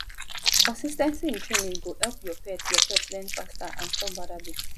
consis ten cy in training go help your pet your pet learn faster and stop bad habits